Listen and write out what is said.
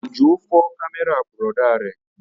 Òjó fọ́ kámẹ́rà bùrọ̀dá rẹ̀